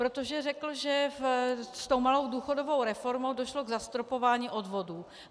Protože řekl, že s tou malou důchodovou reformou došlo k zastropování odvodů.